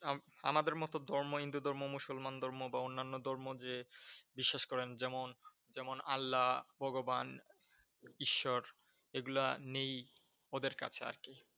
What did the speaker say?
আহ আমাদের মতো ধর্ম হিন্দু ধর্ম, মুসলমান ধর্ম বা অন্যান্য ধর্ম যে বিশ্বাস করেন যেমন যেমন আল্লা, ভগবান, ঈশ্বর এগুলা নেই ওদের কাছে আর কি।